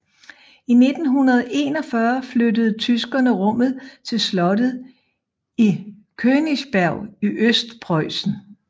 I 1941 flyttede tyskerne rummet til slottet i Königsberg i Østpreussen